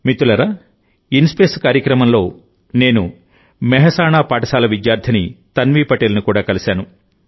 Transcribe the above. మిత్రులారాఇన్స్పేస్ కార్యక్రమంలోనేను మెహసాణా పాఠశాల విద్యార్థిని తన్వీ పటేల్ను కూడా కలిశాను